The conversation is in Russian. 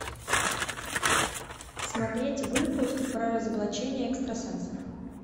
смотреть выпуск про разоблачение экстрасенсов